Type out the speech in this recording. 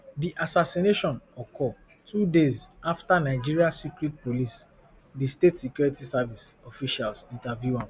di assassination occur two days afta nigeria secret police di state security service officials interview am